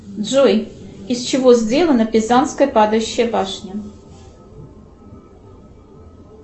джой из чего сделана пизанская падающая башня